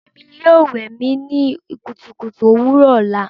Emi yoo wẹ mi ni kutukutu owurọ ọla